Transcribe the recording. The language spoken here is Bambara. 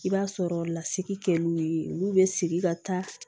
I b'a sɔrɔ lasigi kɛ n'u ye olu bɛ sigi ka taa